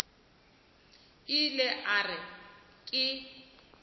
ile ge a re ke